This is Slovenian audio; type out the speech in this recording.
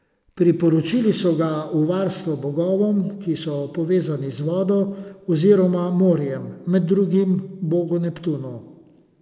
Priporočili so ga v varstvo bogovom, ki so povezani z vodo oziroma morjem, med drugim bogu Neptunu.